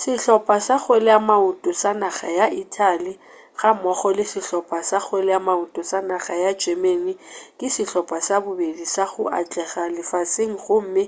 sehlopa sa kgweleamaoto sa naga ya italy ga mmogo le sehlopa sa kgweleamaoto sa naga ya germany ke sehlopa sa bobedi sa go atlega lefaseng gomme